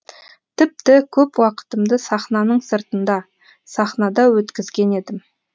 тіпті көп уақытымды сахнаның сыртында сахнада өткізген едім